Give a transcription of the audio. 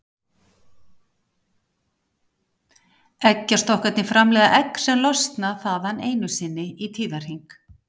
Eggjastokkarnir framleiða egg sem losna þaðan einu sinni í tíðahring.